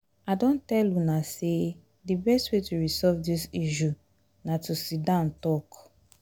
i don tell una say the best way to resolve dis issue na to sit down talk